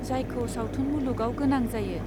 जायखौ सावथुन मुलुगाव गोनां जायो.